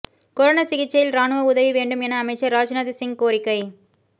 corona சிகிச்சையில் ராணுவம் உதவ வேண்டும் என அமைச்சர் ராஜ்நாத் சிங் கோரிக்கை